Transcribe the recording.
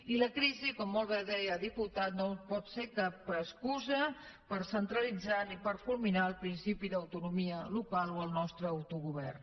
i la crisi com molt bé deia el diputat no pot ser cap excusa per centralitzar ni per fulminar el principi d’autonomia local o el nostre autogovern